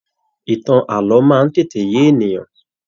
Ìtàn ààlọ́ máa n tètè yé ènìyàn.